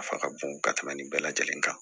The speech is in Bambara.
Nafa ka bon ka tɛmɛ nin bɛɛ lajɛlen kan